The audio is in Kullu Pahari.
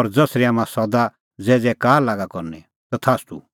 और ज़सरी हाम्हां सदा ज़ैज़ैकार लागा करनी तथास्तू